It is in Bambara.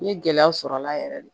N ye gɛlɛya sɔrɔ a la yɛrɛ de